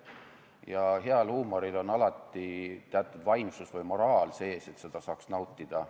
Ja heal huumoril on alati teatud vaimsus või moraal sees, et seda saaks nautida.